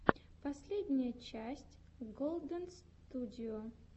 последняя часть голдэнстюдио